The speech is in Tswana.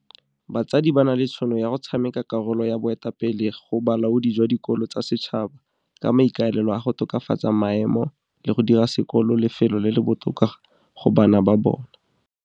Batsadi ba na le tšhono ya go tshameka karolo ya boetapele go bolaodi jwa dikolo tsa setšhaba ka maikaelelo a go tokafatsa maemo le go dira sekolo lefelo le le botoka go bana ba bona.